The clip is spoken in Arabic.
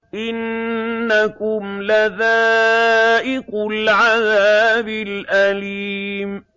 إِنَّكُمْ لَذَائِقُو الْعَذَابِ الْأَلِيمِ